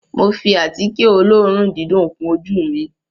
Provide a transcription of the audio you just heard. Mo fi àtíkè olóòórùn dídùn kun ojú ù mi